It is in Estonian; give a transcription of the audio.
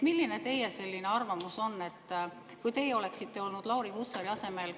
Milline on teie arvamus, kui teie oleksite olnud Lauri Hussari asemel?